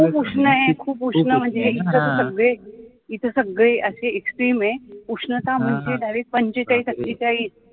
खूप उष्ण हे खूप उष्ण म्हणजे सगळे तिथं सगळे असे extreme उष्णता म्हणजे पंचेचाळीस अठ्ठेचाळीस